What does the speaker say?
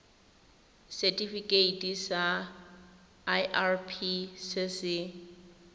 setifikeiting sa irp se se